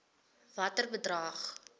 watter bedrag